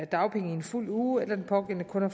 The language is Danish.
dagpenge i en fuld uge eller den pågældende kun har